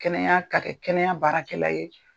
Kɛnɛya ka kɛ kɛnɛya baarakɛla ye